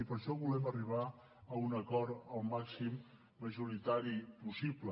i per això volem arribar a un acord el màxim majoritari possible